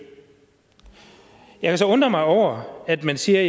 jeg kan så undre mig over at man siger